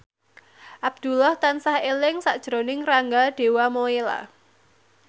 Abdullah tansah eling sakjroning Rangga Dewamoela